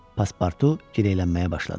Paspartu gineylənməyə başladı.